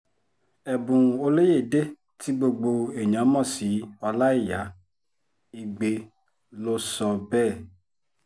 ẹ̀bùn olóyedè tí gbogbo èèyàn mọ̀ sí ọláìyá igbe ló sọ bẹ́ẹ̀